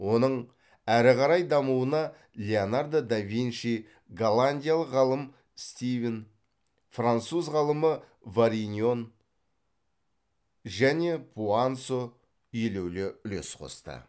оның әрі қарай дамуына леонардо да винчи голландиялық ғалым стивин француз ғалымы вариньон және пуансо елеулі үлес қосты